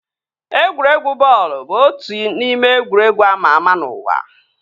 Egwuregwu bọọlụ bụ otu n'ime egwuregwu ama ama n'ụwa